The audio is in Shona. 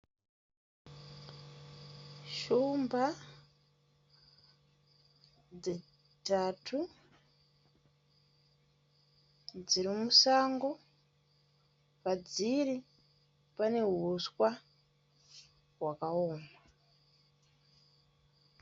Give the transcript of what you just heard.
Shumba dzitatu dziri musango. Padziri pane huswa hwakaoma.